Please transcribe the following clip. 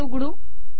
हे उघडू